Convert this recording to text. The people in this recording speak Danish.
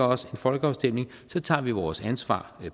os en folkeafstemning så tager vi vores ansvar